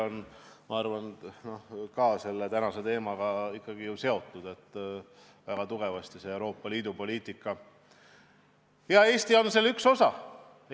Jah, ma arvan, et see on ikkagi ka tänase teemaga seotud, see on väga tugevasti Euroopa Liidu poliitikaga seotud.